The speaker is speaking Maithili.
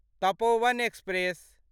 तपोवन एक्सप्रेस